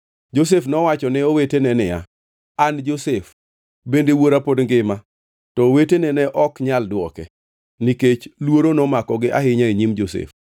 Josef nowacho ne owetene niya, “An Josef! Bende wuora pod ngima?” To owetene ne ok nyal dwoke, nikech luoro nomakogi ahinya e nyim Josef.